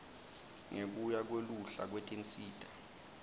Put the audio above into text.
ngekuya kweluhla lwetinsita